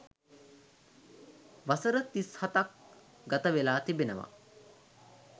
වසර තිස් හතක් ගතවෙලා තිබෙනවා.